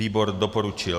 Výbor doporučil.